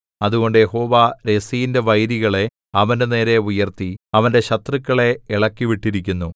അതുകൊണ്ട് യഹോവ രെസീന്റെ വൈരികളെ അവന്റെനേരെ ഉയർത്തി അവന്റെ ശത്രുക്കളെ ഇളക്കിവിട്ടിരിക്കുന്നു